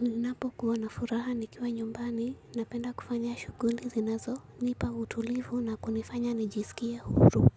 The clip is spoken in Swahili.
Ninapo kuwa na furaha nikiwa nyumbani, napenda kufanya shughuli zinazo, nipa utulivu na kunifanya nijisikie huru.